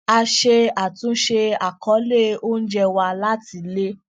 a ṣe àtúnṣe àkọọlẹ oúnjẹ wa láti lè